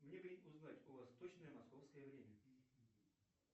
мне бы узнать у ва точное московское время